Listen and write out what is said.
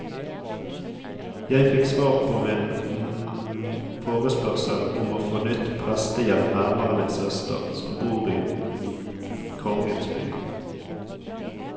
Jeg fikk svar på min forespørsel om å få nytt prestegjeld nærmere min søster, som bor i kongens by.